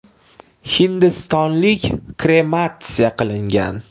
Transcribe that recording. Hindistonlik krematsiya qilingan.